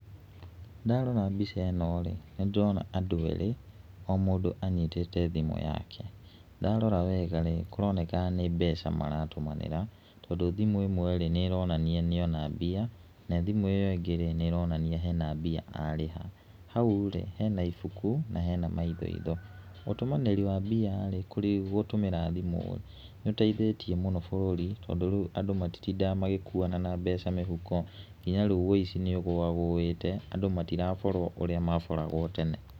Ndarora mbica ĩno rĩ, nĩ ndĩrona andũ erĩ, o mũndũ anyitĩte thimũ yake. Ndarora wega rĩ, kũroneka nĩ mbeca maratũmanĩra, tondũ thimũ ĩmwe rĩ, nĩ ĩronania ĩna mbia. Na thimũ ĩyo ĩngĩ nĩ ĩronania hena mbia arĩha, hau rĩ, hena ibuku na hena tũindo. Ũtũmanĩri wa mbia rĩ gũtũmĩra thimũ rĩ, nĩ ũteithĩtie mũno bũrũri, tondũ rĩu andũ matitindaga magĩkua mbeca mũhuko, nginya rĩu ũici nĩ ũgũwagũĩte, andũ matiraborwo ũrĩa maboragwo tene.